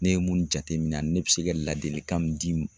Ne ye mun jateminɛ ne bɛ se ka ladilikan min di